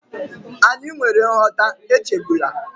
Anyị nwere nghọta, echegbula